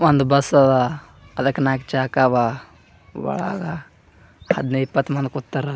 ಒಂದ ಬಸ್ ಅದಕ್ಕೆ ನಾಕ್ ಚಾಕವಾ ಒಳಗ್ ಹದನೈದ್ ಇಪ್ಪತ್ ಮಂದಿ ಕುಂತರ್ .